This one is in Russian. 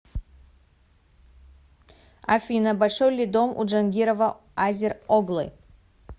афина большой ли дом у джангирова азер оглы